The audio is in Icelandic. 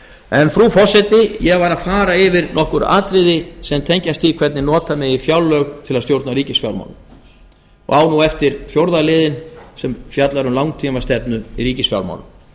en frú forseti ég var að fara yfir nokkur atriði sem tengjast því hvernig nota megi fjárlög til að stjórna ríkisfjármálum og á nú eftir fjórða liðinn sem fjallar um langtímastefnu í ríkisfjármálum